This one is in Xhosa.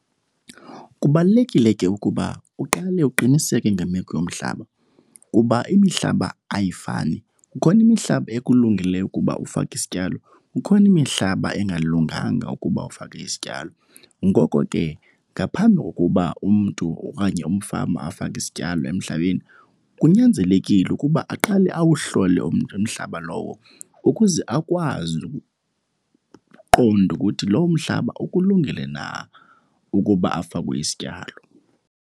Kubalulekile ke ukuba uqale uqiniseke ngemeko yomhlaba kuba imihlaba ayifani. Kukhona imihlaba ekulungeleyo ukuba ufake isityalo, kukhona imihlaba engalunganga ukuba ufake isityalo. Ngoko ke ngaphambi kokuba umntu okanye umfama afake isityalo emhlabeni kunyanzelekile ukuba aqale awuhlole umntu umhlaba lowo ukuze akwazi ukuqonda ukuthi lowo mhlaba ukulungele na ukuba afakwe isityalo.